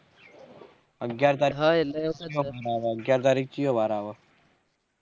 અગ્યાર તરીકે અગ્યાર તરીકે કયો વાર આવે